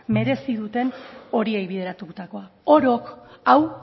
merezi duten horiei bideratutako orok hau